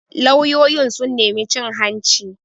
Lauyoyin sun nemi cin hanci